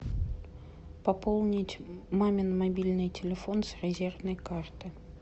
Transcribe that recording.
пополнить мамин мобильный телефон с резервной карты